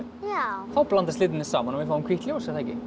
já þá blandast litirnir saman og við fáum hvítt ljós